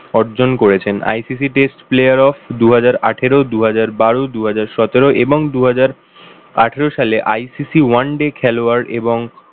অর্জন করেছেন। ICC test player of দুহাজার আঠেরো, দুহাজার বারো, দুহাজার সতেরো এবং দুহাজার আঠারো সালে ICC one day খেলোয়াড় এবং